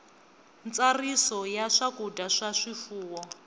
ntsariso ya swakudya swa swifuwo